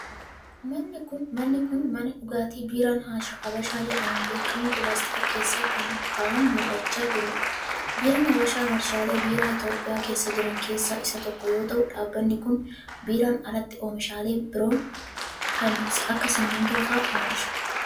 Manni kun, mana dhugaatii biiraan Habashaa jedhamuun beekamu pilaastikni keessa ka'an mul'achaa jiruu dha. Biiraan Habashaa ,warshaalee biiraa Itoophiyaa keessa jiran keessaa isa tokko yoo ta'u, dhaabbanni kun biiraan alatti oomishaalee biroo kan akka simiintoo faa oomisha.